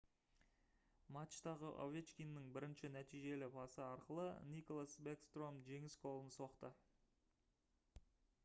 матчтағы овечкиннің бірінші нәтижелі пасы арқылы никлас бэкстром жеңіс голын соқты